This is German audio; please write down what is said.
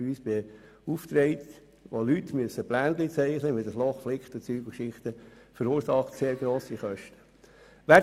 Das verursacht beim Ingenieurbüro, das wir beauftragen, grosse Kosten.